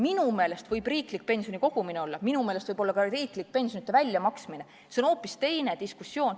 Minu meelest võib riiklik pensionikogumine olla, minu meelest võib olla ka riiklik pensionite väljamaksmine – see on hoopis teine diskussioon.